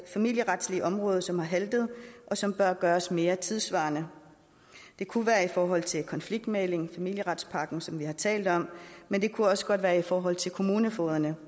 familieretlige område som har haltet og som bør gøres mere tidssvarende det kunne være i forhold til konfliktmægling familieretspakken som vi har talt om men det kunne også godt være i forhold til kommunefogederne